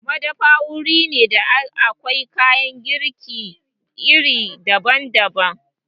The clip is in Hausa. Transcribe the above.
Madafa wuri ne da akwai kayan girki iri daban-daban.